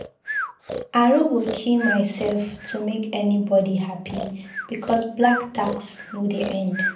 I no go kill myself to make anybodi hapi because black tax no dey end.